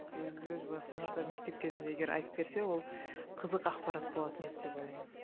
өз өз басыма да мектеп кезінде егер айтып берсе ол қызық ақпарат болатын еді деп ойлаймын